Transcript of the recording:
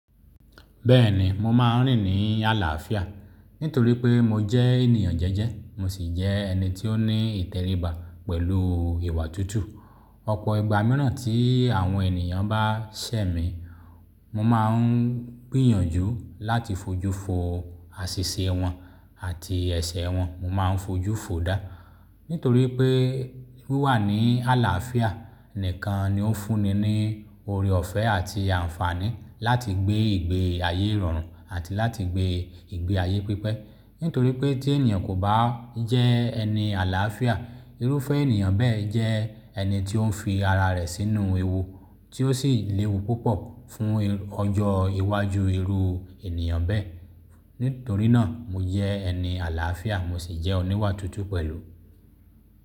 Bẹ́ẹ̀ni, mo máa ń rìn ní àlàáfíà nítorí pé mo jẹ́ ènìyàn jẹ́jẹ́, mo sì jẹ́ ẹni tí ó ní ìtẹríba pẹ̀lú ìwà tútù. Ọ̀pọ̀ ìgbà mìíràn tí àwọn ènìyàn bá ṣẹ̀ mí, mo máa ń gbìyànjú láti fojú fo àṣìṣe wọn àti ẹ̀ṣẹ̀ wọn. Mo máa ń fojú fo dáá, nítorí pé wíwà ní àlàáfíà nìkan ni ó n fún ni ní oore ọ̀fẹ́ àti àǹfààní láti gbé ìgbé ayé ìrọ̀rùn àti láti gbé ìgbé ayé pípẹ́. Nítorí pé tí ènìyàn kò bá jẹ́ ẹni àlàáfíà, irúfẹ́ ènìyàn bẹ́ẹ̀ jẹ́ ẹni tí ó ń fi ara rẹ̀ sínú ewu tí ó sì léwu púpọ̀ fún ọjọ́ iwájú irú ènìyàn bẹ́ẹ̀. Nítorí náà, mo jẹ́ ẹni àlàáfíà mo sì jẹ́ oníwà tútù pẹ̀lú.